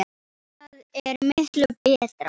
Það er miklu betra.